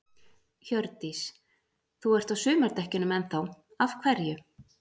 Hjördís: Þú ert á sumardekkjunum enn þá, af hverju?